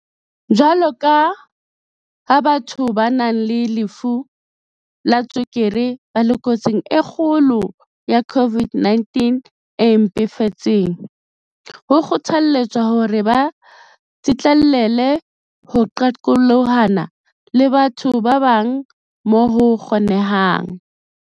Jwaloka ha batho ba nang le lefu la tswekere ba le kotsing e kgolo ya COVID-19 e mpefetseng, ho kgothalletswa hore ba tsitlallele ho qaqolohana le batho ba bang moo ho kgo-nehang.